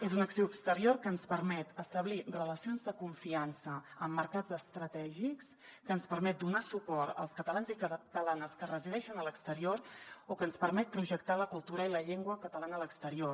és una acció exterior que ens permet establir relacions de confiança amb mercats estratègics que ens permet donar suport als catalans i catalanes que resideixen a l’exterior o que ens permet projectar la cultura i la llengua catalanes a l’exterior